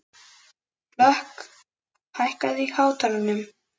Hlökk, hækkaðu í hátalaranum.